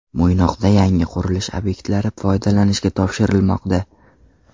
Mo‘ynoqda yangi qurilish obyektlari foydalanishga topshirilmoqda.